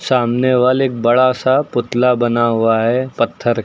सामने वाले एक बड़ा सा पुतला बना हुआ है पत्थर का।